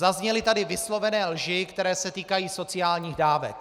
Zazněly tady vyslovené lži, které se týkají sociálních dávek.